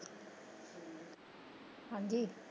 ਹਾਂਜੀ।